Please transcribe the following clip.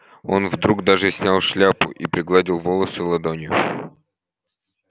он вдруг даже снял шляпу и пригладил волосы ладонью